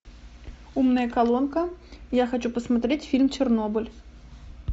умная колонка я хочу посмотреть фильм чернобыль